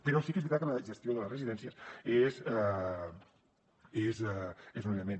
però sí que és veritat que la gestió de les residències és un element